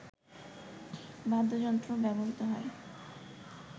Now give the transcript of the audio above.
বাদ্যযন্ত্র ব্যবহৃত হয়